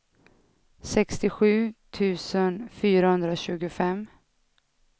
sextiosju tusen fyrahundratjugofem